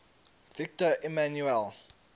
victor emmanuel